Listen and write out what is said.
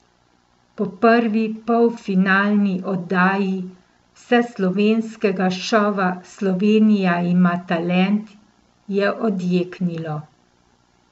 Po prvi polfinalni oddaji vseslovenskega šova Slovenija ima talent je odjeknilo!